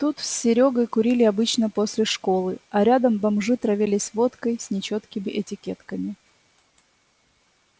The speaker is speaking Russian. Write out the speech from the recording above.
тут с серёгой курили обычно после школы а рядом бомжи травились водкой с нечёткими этикетками